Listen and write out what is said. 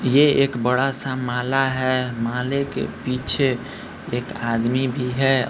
ये एक बड़ा-सा माला है माले के पीछे एक आदमी भी है।